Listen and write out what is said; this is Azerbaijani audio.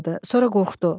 Sonra qorxdu.